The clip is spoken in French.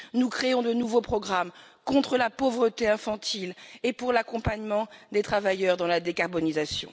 Nous créons des programmes contre la pauvreté infantile et pour l'accompagnement des travailleurs dans la décarbonisation.